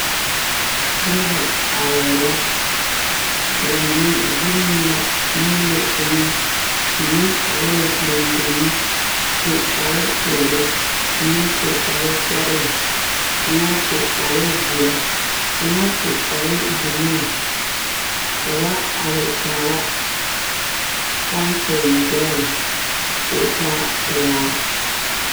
Noba arɛɛ la ba mine zone la teŋa mine are la dendeŋi su kpar peɛle mime su kpar sɔgelɔ kaŋa su kpar zeɛ kaŋa su kpar buluu ka ba are kaara pɔmpi gbɛrɛɛ ko taa pelaa